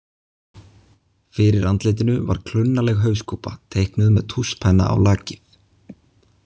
Fyrir andlitinu var klunnaleg hauskúpa, teiknuð með tússpenna á lakið.